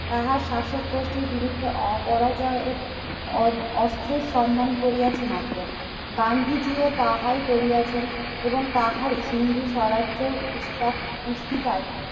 তাহা শাসক গোষ্ঠীর বিরুদ্ধে অপরাজয় অ অস্ত্রের সন্ধান করিয়াছে মাত্র। গান্ধীজীও তাহাই করিয়াছেন এবং তাহারে হিন্দু স্বরাষ্ট্র পুস্ত পুস্তিকায়